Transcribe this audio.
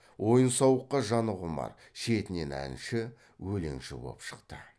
ойын сауыққа жаны құмар шетінен әнші өлеңші боп шықты